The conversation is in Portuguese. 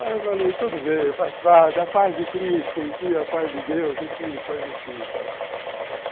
Aí eu falei, tudo bem, faz parte da paz de Cristo, enfim, a paz de Deus, enfim, coisa assim e tal.